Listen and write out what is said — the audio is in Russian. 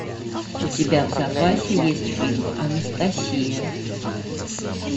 у тебя в запасе есть фильм анастасия